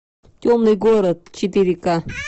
темный город четыре ка